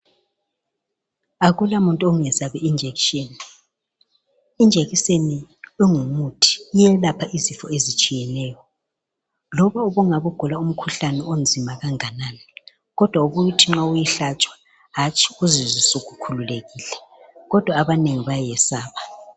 Akulamuntu ongesabi ijekiseni. Ijekiseni ingumuthi, iyelapha izifo ezitshiyeneyo, loba ungabe ugula umkhuhlane onzima kanganani, kodwa ubuye uthi nxa uyihlatshwa hatshi uzizwe usukhululekile, kodwa abanengi bayayesaba.